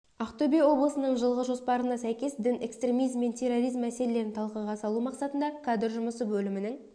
ақтөбе облысының жылғы жоспарына сәйкес дін экстремизм мен терроризм мәселелерін талқыға салу мақсатында кадр жұмысы бөлімінің